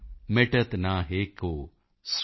निज भाषा उन्नति अहै सब उन्नति को मूल